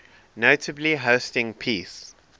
notably hosting peace